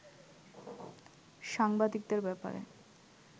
সাংবাদিকদের ব্যাপারে